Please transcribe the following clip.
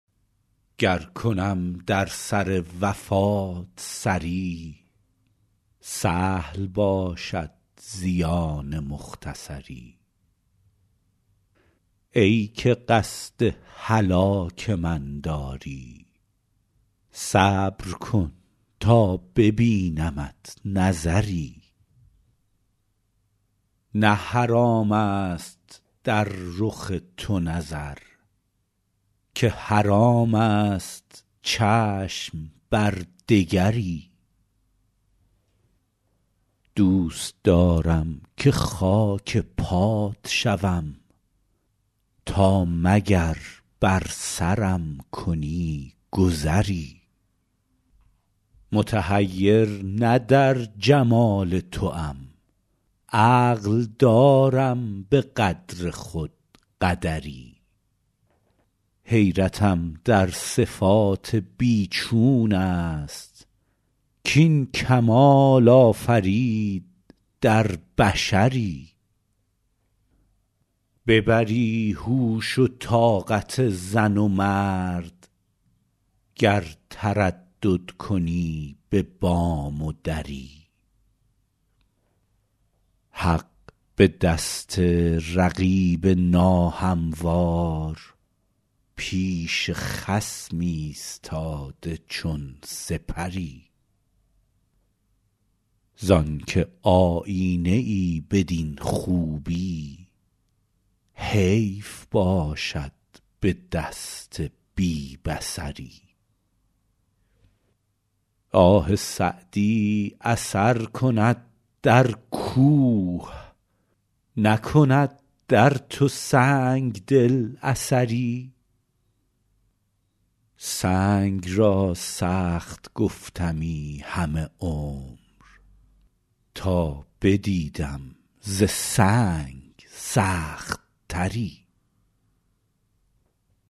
گر کنم در سر وفات سری سهل باشد زیان مختصری ای که قصد هلاک من داری صبر کن تا ببینمت نظری نه حرام است در رخ تو نظر که حرام است چشم بر دگری دوست دارم که خاک پات شوم تا مگر بر سرم کنی گذری متحیر نه در جمال توام عقل دارم به قدر خود قدری حیرتم در صفات بی چون است کاین کمال آفرید در بشری ببری هوش و طاقت زن و مرد گر تردد کنی به بام و دری حق به دست رقیب ناهموار پیش خصم ایستاده چون سپری زان که آیینه ای بدین خوبی حیف باشد به دست بی بصری آه سعدی اثر کند در کوه نکند در تو سنگ دل اثری سنگ را سخت گفتمی همه عمر تا بدیدم ز سنگ سخت تری